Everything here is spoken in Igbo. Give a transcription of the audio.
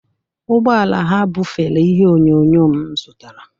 Ụgbọ ala ha bufere ihe onyonyo m zụtara